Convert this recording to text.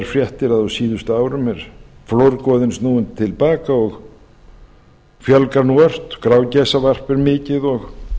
fréttir að á síðust árum er flórgoðinn snúinn til baka og fjölgar ört grágæsavarp er mikið og